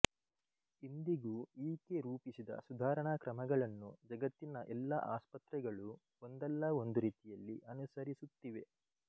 ಇಂದಿಗೂ ಈಕೆ ರೂಪಿಸಿದ ಸುಧಾರಣಾ ಕ್ರಮಗಳನ್ನು ಜಗತ್ತಿನ ಎಲ್ಲ ಆಸ್ಪತ್ರೆಗಳೂ ಒಂದಲ್ಲ ಒಂದು ರೀತಿಯಲ್ಲಿ ಅನುಸರಿಸುತ್ತಿವೆ